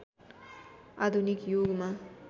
आधुनिक युगमा